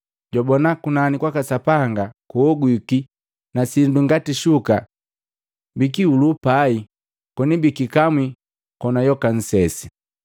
Jwabona kunani kwaka Sapanga kuogwiki na sindu ngati shuka bikihulu pai koni bikikamwi kona yoka nsesi.